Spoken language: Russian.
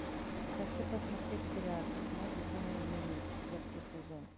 хочу посмотреть сериальчик мой безумный дневник четвертый сезон